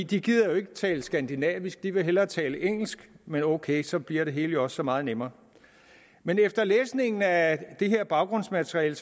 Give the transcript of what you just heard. de gider ikke tale skandinavisk de vil hellere tale engelsk men ok så bliver det hele også så meget nemmere men efter læsningen af det her baggrundsmateriale